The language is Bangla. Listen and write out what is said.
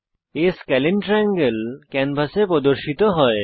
A স্কেলিন ট্রায়াঙ্গেল ক্যানভাসে প্রদর্শিত হয়